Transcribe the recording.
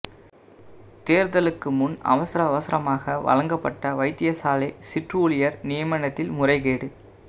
தேர்தலுக்கு முன் அவசர அவசரமாக வழங்கப்பட்ட வைத்தியசாலை சிற்றூழியர் நியமனத்தில் முறைகேடு